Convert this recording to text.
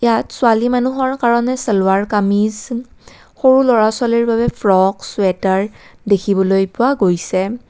তাত ছোৱালী মানুহৰ কাৰণে চালৱাৰ কামিজ উম সৰু ল'ৰা ছোৱালীৰ বাবে ফ্ৰক চুৱেটাৰ দেখিবলৈ পোৱা গৈছে।